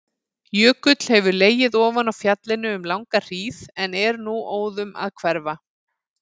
Jökull hefur legið ofan á fjallinu um langa hríð en er nú óðum að hverfa.